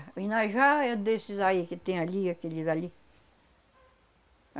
O inajá é desses aí que tem ali, aqueles ali.